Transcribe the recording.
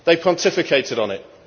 They pontificated on it.